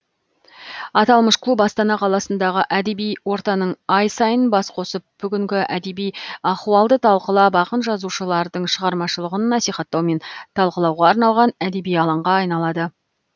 аталмыш клуб астана қаласындағы әдеби ортаның ай сайын бас қосып бүгінгі әдеби ахуалды талқылап ақын жазушылардың шығармашылығын насихаттау мен талқылауға арналған әдеби алаңға айналады